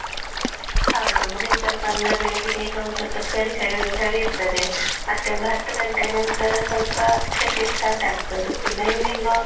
ಹೌದು morning ಸ್ವಲ್ಪ ಅಂದ್ರೆ ಬೆಳಿಗ್ಗೆ ಬೇಗ ಒಂದ್ ಸ್ವಲ್ಪ ಚಳಿ ಚಳಿ ಚ~ ಚಳಿ ಇರ್ತದೆ. ಮತ್ತೆ ಒಂದ್ ಹತ್ತು ಗಂಟೆಯ ನಂತರ ಸ್ವಲ್ಪ ಸೆಕೆ start ಆಗ್ತದೆ ಇನ್ನ evening .